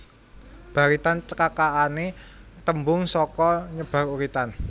Baritan cekakané tembung saka nyebar uritan